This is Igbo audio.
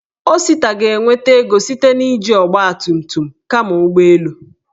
Osita ga-enweta ego site na iji ọgbatumtum kama ụgbọ elu.